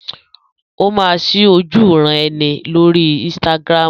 Ó máa ṣí ojúuran-ẹni lórí Instagram.